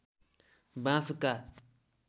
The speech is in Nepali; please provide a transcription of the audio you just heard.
बाँसका